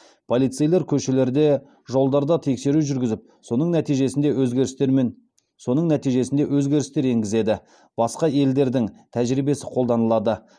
полицейлер көшелерде жолдарда тексеру жүргізіп соның нәтижесінде өзгерістер мен соның нәтижесінде өзгерістер енгізеді басқа елдердің тәжірибесі қолданылады